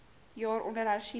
jaar onder hersiening